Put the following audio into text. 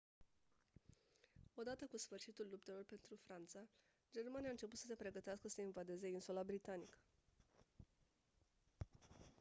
odată cu sfârșitul luptelor pentru franța germania a început să se pregătească să invadeze insula britanică